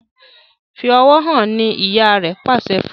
Fí ọwọ hàn! ní ìyá rẹ pàṣẹ fún.